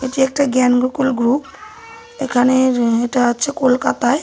এটি একটা জ্ঞান গোকুল গ্রুপ এখানের এটা আছে কলকাতায়।